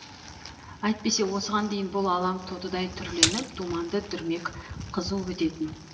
әйтпесе осыған дейін бұл алаң тотыдай түрленіп думанды дүрмек қызу өтетін